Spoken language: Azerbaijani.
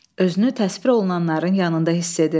Özünü təsvir olunanların yanında hiss edir.